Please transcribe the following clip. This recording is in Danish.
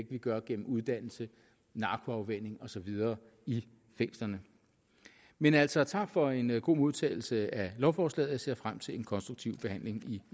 vi gør gennem uddannelse narkoafvænning og så videre i fængslerne men altså tak for en god modtagelse af lovforslaget jeg ser frem til en konstruktiv behandling i